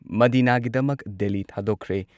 ꯃꯗꯤꯅꯥꯒꯤꯗꯃꯛ Delhi ꯊꯥꯗꯣꯛꯈ꯭ꯔꯦ